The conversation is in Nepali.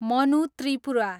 मनु त्रिपुरा